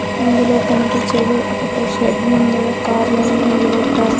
ఇందులో కనిపిచ్చేది ఒక షెడ్డు ముందర కార్లన్ని నిలబెట్టారు.